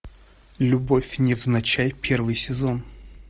любовь невзначай первый сезон